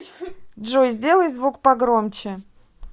джой сделай звук погромче